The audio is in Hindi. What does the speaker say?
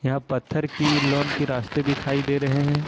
यहाँ पत्थर की लॉन के रास्ते दिखाई दे रहे हैं।